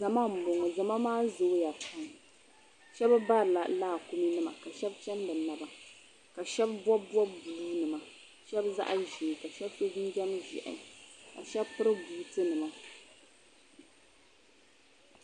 Zama m-bɔŋɔ zama maa zooya pam shɛba barila laakuminima ka shɛba chani bɛ naba shɛba bɔbi bɔbi buluunima ka shɛba bɔbi zaɣ'ʒee ka shɛba so jinjam ʒɛhi ka shɛba piri buutinima.